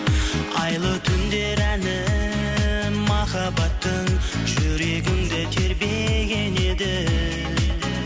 айлы түндер әні махаббаттың жүрегімді тербеген еді